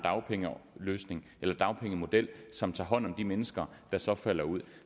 dagpengemodel som tager hånd om de mennesker der så falder ud